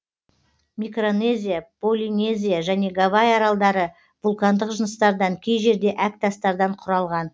микронезия полинезия және гавай аралдары вулкандық жыныстардан кей жерде әк тастардан құралған